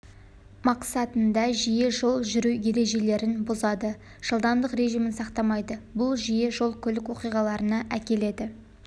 мақсатында жиі түрде жол жүру ережелерін бұзады жылдамдық режимін сақтамайды бұл жиі жол-көлік оқиғаларына әкеледі